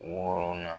Wɔɔrɔnan